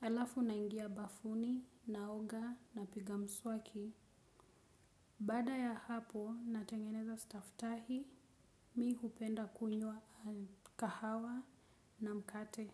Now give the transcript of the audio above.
Halafu naingia bafuni, naoga, napiga mswaki. Baada ya hapo, natengeneza staftahi, mi hupenda kunywa kahawa na mkate.